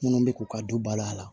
Minnu bɛ k'u ka du bala a la